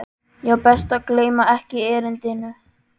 Já, best að gleyma ekki erindinu.